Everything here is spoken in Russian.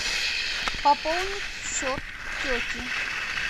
пополнить счет тете